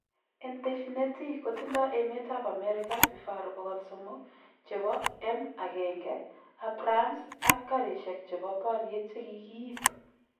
En teshinet ii kotindo emetab Amerika vifaru 300 chebo M1 Abrams ak garishek chebo boriet Chegigiib.